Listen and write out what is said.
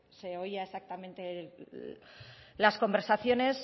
se oía exactamente las conversaciones